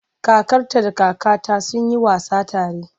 Kakarta da kakata sun yi wasa tare.